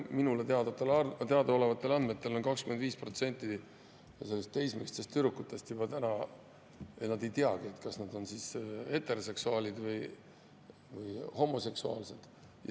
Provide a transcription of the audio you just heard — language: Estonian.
Minule teadaolevatel andmetel 25% teismelistest tüdrukutest juba ei teagi, kas nad on heteroseksuaalsed või homoseksuaalsed.